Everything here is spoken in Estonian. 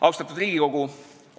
Austatud Riigikogu!